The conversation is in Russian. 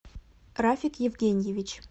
рафик евгеньевич